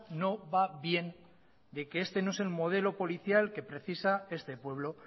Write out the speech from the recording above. no va bien de que este no es el modelo policial que precisa este pueblo